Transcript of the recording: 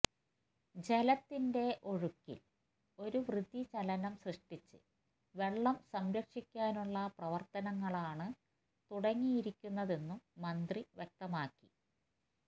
ജലത്തിന്റെ ഒഴുക്കില് ഒരു വൃതിചലനം സൃഷ്ടിച്ച് വെള്ളം സംരക്ഷിക്കാനുള്ള പ്രവര്ത്തനങ്ങളാണ് തുടങ്ങിയിരിക്കുന്നതെന്നും മന്ത്രി വ്യക്തമാക്കി